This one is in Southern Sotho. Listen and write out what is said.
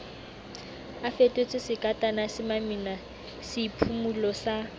a fetotswesekatana semamina seiphumolo sa